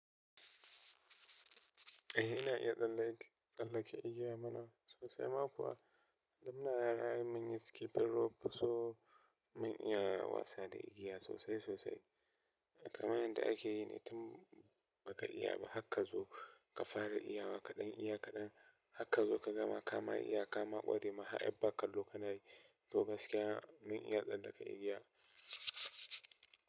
Eh ina iya tsallake, tsallake igiya mana sosai. Ma kuwa da muna yara ai mun yi skipping rope so mun iya wasa da igiya sosai sosai. Kaman yanda ake yi ne, tun baka iyaba har ka zo ka fara iyawa kaɗan iyawa kaɗan. Har ka zo kaga ma kama iya kama ƙware ma, har a ba kallo ma kana yi. To gaskiya mun iya tsallaka igiya.